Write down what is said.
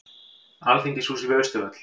Alþingishúsið við Austurvöll.